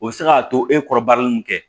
O bɛ se k'a to e kɔrɔ baara min kɛ